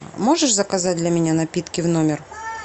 можешь заказать для меня напитки в номер